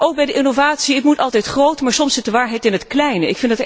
Ook bij de innovatie, moet het altijd groot zijn, maar soms zit de waarheid in het kleine.